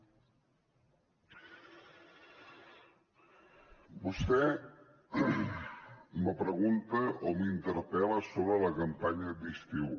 vostè me pregunta o m’interpel·la sobre la campanya d’estiu